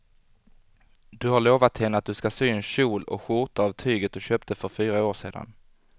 Du har lovat henne att du ska sy en kjol och skjorta av tyget du köpte för fyra år sedan.